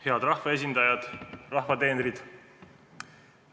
Head rahvaesindajad, rahva teenrid!